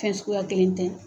Fɛn suguya kelen tɛ